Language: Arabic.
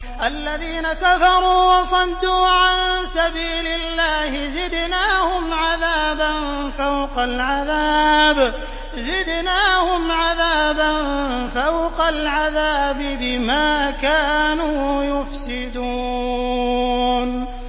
الَّذِينَ كَفَرُوا وَصَدُّوا عَن سَبِيلِ اللَّهِ زِدْنَاهُمْ عَذَابًا فَوْقَ الْعَذَابِ بِمَا كَانُوا يُفْسِدُونَ